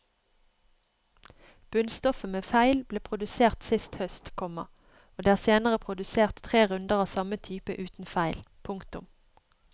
Bunnstoffet med feil ble produsert sist høst, komma og det er senere produsert tre runder av samme type uten feil. punktum